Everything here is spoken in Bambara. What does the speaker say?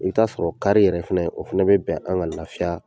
I be taa sɔrɔ kari yɛrɛ fɛnɛ, o fɛnɛ be bɛn an ŋa lafiya